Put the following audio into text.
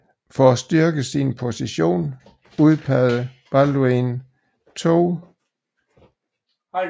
For at styrke sin position udpegede Balduin 2